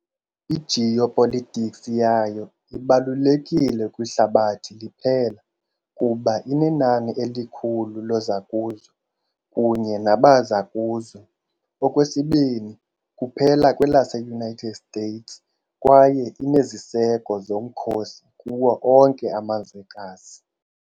I -geopolitics yayo ibalulekile kwihlabathi liphela, kuba inenani elikhulu lozakuzo kunye nabazakuzo, okwesibini kuphela kwelase -United States, kwaye ineziseko zomkhosi kuwo onke amazwekazi.